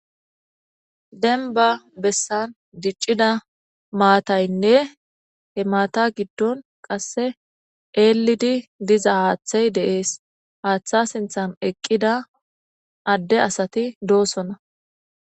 Dembba bessan diccida maataynne eelidi diiza haththey he haththeza sinththan eqqida adey dess.